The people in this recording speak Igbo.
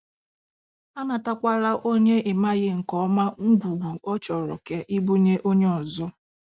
Anatakwala onye ị maghị nke ọma ngwugwu ọ chọrọ ka I bunye onye ọzọ.